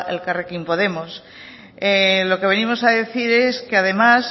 elkarrekin podemos lo que venimos a decir es que además